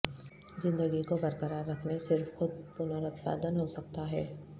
زندگی کو برقرار رکھنے صرف خود پنروتپادن ہو سکتا ہے